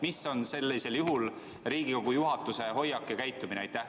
Milline on sellisel juhul Riigikogu juhatuse hoiak ja käitumine?